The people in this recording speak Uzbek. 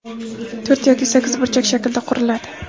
to‘rt yoki sakkiz burchak shaklida quriladi.